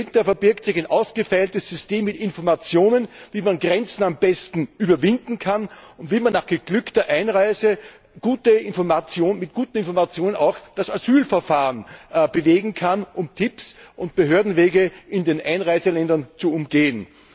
Dahinter verbirgt sich ein ausgefeiltes System mit Informationen, wie man Grenzen am besten überwinden kann und wie man nach geglückter Einreise mit guten Informationen auch das Asylverfahren bewegen kann, und Tipps, um Behördenwege in den Einreiseländern zu umgehen.